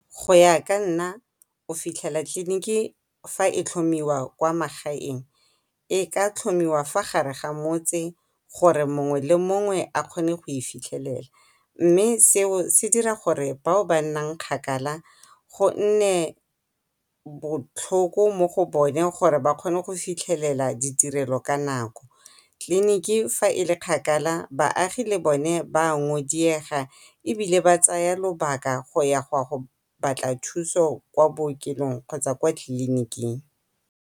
Go ya ka nna o fitlhela tleliniki fa e tlhomiwa kwa magaeng e ka tlhomiwa fa gare ga motse gore mongwe le mongwe a kgone go e fitlhelela, mme seo se dira gore bao ba nnang kgakala gonne botlhoko mo go bone gore ba kgone go fitlhelela ditirelo ka nako. Tleliniki fa e le kgakala baagi le bone ba ngodiega ebile ba tsaya lobaka go ya gwa go batla thuso kwa bookelong kgotsa kwa tleliniking.